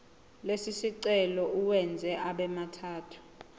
lesicelo uwenze abemathathu